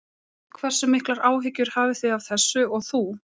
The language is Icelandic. Hversu miklar áhyggjur hafið þið af þessu og þú?